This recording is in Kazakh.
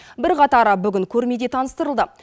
бірқатары бүгін көрмеде таныстырылды